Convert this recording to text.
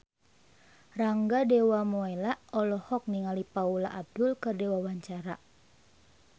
Rangga Dewamoela olohok ningali Paula Abdul keur diwawancara